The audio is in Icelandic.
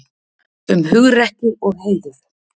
Um hugrekki og heiður.